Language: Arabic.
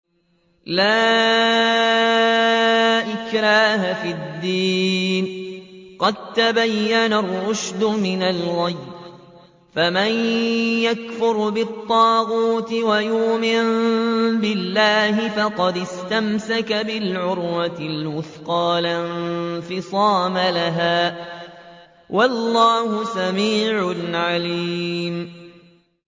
لَا إِكْرَاهَ فِي الدِّينِ ۖ قَد تَّبَيَّنَ الرُّشْدُ مِنَ الْغَيِّ ۚ فَمَن يَكْفُرْ بِالطَّاغُوتِ وَيُؤْمِن بِاللَّهِ فَقَدِ اسْتَمْسَكَ بِالْعُرْوَةِ الْوُثْقَىٰ لَا انفِصَامَ لَهَا ۗ وَاللَّهُ سَمِيعٌ عَلِيمٌ